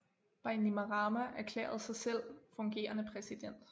Bainimarama erklærede sig selv fungerende præsident